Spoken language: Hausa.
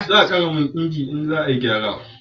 Za a kara man inji in za a yi gyara